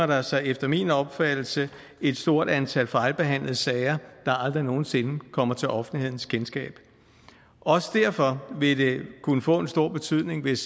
der sig efter min opfattelse et stort antal fejlbehandlede sager der aldrig nogen sinde kommer til offentlighedens kendskab også derfor vil det kunne få en stor betydning hvis